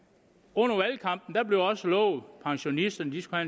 under valgkampen blev der også lovet at pensionisterne skulle